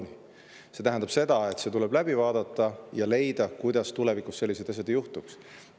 See tähendab seda, et tuleb läbi vaadata ja leida, kuidas tulevikus sellised asjad ei juhtuks.